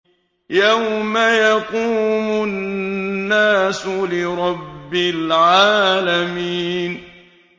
يَوْمَ يَقُومُ النَّاسُ لِرَبِّ الْعَالَمِينَ